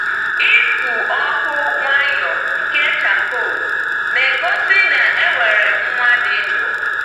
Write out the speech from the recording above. Ịkụ ọkụ nwayọọ nke charcoal na-egosi na e nwere nwa dị ndụ.